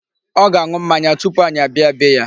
Ọ ga-aṅụ mmanya tupu anyị abịa bee ya.